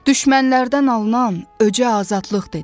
Düşmənlərdən alınan öcə azadlıq dedim.